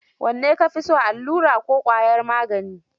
Wanne ka fi so, allura ko ƙwayar magani?